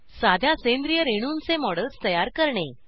साध्या सेंद्रिय रेणूंचे मॉडेल्स तयार करणे